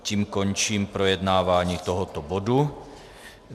Tím končím projednávání tohoto bodu.